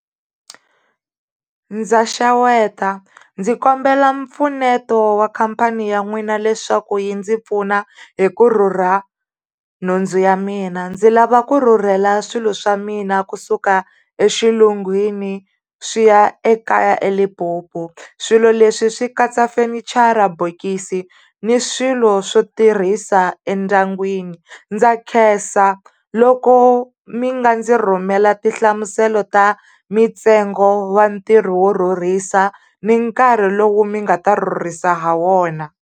Ndza xeweta, ndzi kombela mpfuneto wa khampani ya n'wina leswaku yi ndzi pfuna hi ku rhurha nhundzu ya mina. Ndzi lava ku rhurhela swilo swa mina kusuka exilungwini swi ya ekaya eLimpopo. Swilo leswi swi katsa fenichara, bokisi ni swilo swo tirhisa endyangwini. Ndza khensa loko mi nga ndzi rhumela tinhlamuselo ta mintsengo wa ntirho wo rhurhisa, ni nkarhi lowu mi nga rhurhisa ha wona.